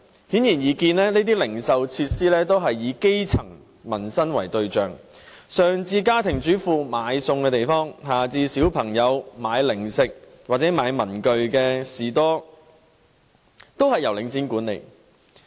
顯而易見，這些零售設施也是以基層民生為對象，上至家庭主婦買餸的地方，下至小朋友買零食或文具的士多，都是由領展管理。